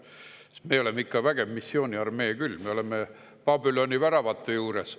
Sest me oleme ikka vägev missiooniarmee küll, me oleme Babüloni väravate juures.